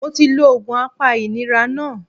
Mo ti lo òògùn apa ìnira náà